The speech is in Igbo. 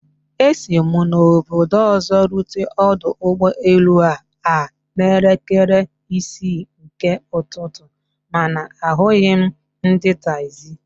Esi mụ obodo ọzọ rute ọdọ ụgbọ elu a a n'elekere isi nke ụtụtụ, mana ahụghị m ndị taxi